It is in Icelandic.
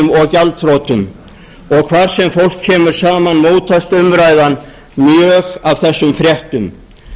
og hvar sem fólk kemur saman mótast umræðan mjög af þessum fréttum